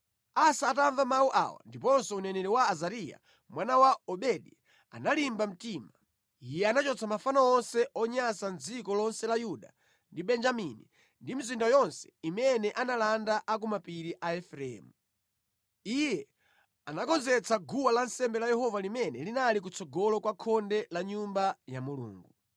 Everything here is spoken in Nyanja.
Asa atamva mawu awa ndiponso uneneri wa Azariya mwana wa Odedi, analimba mtima. Iye anachotsa mafano onse onyansa mʼdziko lonse la Yuda ndi Benjamini ndi mʼmizinda yonse imene analanda a ku mapiri a Efereimu. Iye anakonzetsa guwa lansembe la Yehova limene linali kutsogolo kwa khonde la Nyumba ya Mulungu.